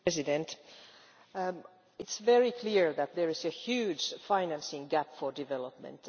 Mr President, it is very clear that there is a huge financing gap for development.